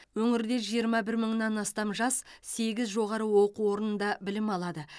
өңірде жиырма бір мыңнан астам жас сегіз жоғары оқу орнында білім алады